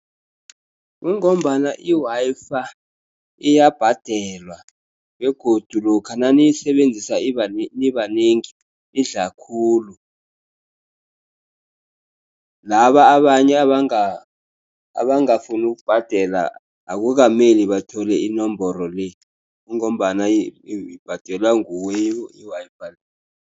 Kungombana i-Wi-Fi iyabhadelwa begodu lokha naniyisenzisa nibanengi idla khulu. Laba abanye abangafuni ukubhadela akukameli bathole inomboro le kungombana ibhadelwa nguwe i-Wi-Fi.